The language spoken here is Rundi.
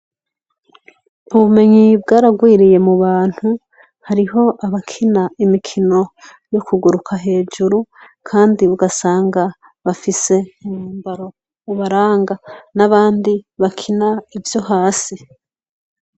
Ubumenyi bwararwiriye mubantu hariho abakina imikino yo kuguruka hejuru, kandi ugasanga bafise umwambaro ubaranga, n'abandi bakina ivyo hasi.